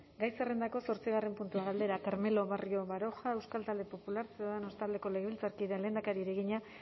gai zerrendako zortzigarren puntua galdera carmelo barrio baroja euskal talde popular ciudadanos taldeko legebiltzarkideak lehendakariari egina